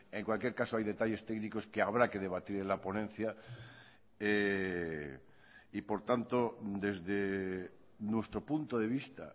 en cualquier caso hay detalles técnicos que habrá que debatir en la ponencia y por tanto desde nuestro punto de vista